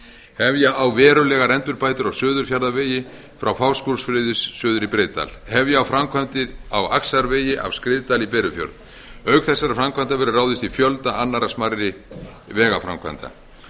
hefja á verulegar endurbætur á suðurfjarðavegi frá fáskrúðsfirði suður í breiðdal hefja á framkvæmdir á axarvegi af skriðdal í berufjörð auk þessara framkvæmda verður ráðist í fjölda annarra smærri vegaframkvæmda